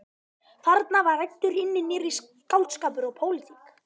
Þarna var ræddur hinn nýrri skáldskapur og pólitík.